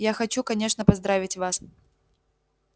я хочу конечно поздравить вас